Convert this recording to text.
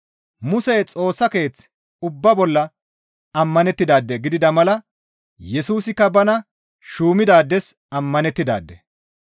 Musey Xoossa Keeth ubbaa bolla ammanettidaade gidida mala Yesusikka bana shuumidaades ammanettidaade.